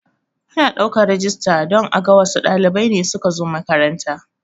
Ana ɗaukan rijista don aga wassu ɗalibai ne suka zo makaranta